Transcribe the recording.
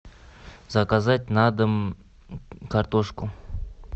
заказать на дом картошку